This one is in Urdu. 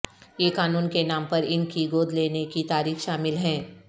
یہ قانون کے نام پر ان کی گود لینے کی تاریخ شامل ہیں